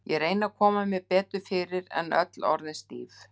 Ég reyni að koma mér betur fyrir, er öll orðin stíf.